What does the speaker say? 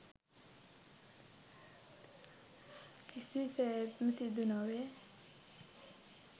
කිසිසේත්ම සිදු නොවේ.